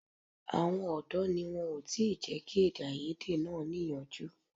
Àwọn ọ̀dọ́ ni wọn ò tí ì jẹ́ kí èdèàìyedè náà níyanjú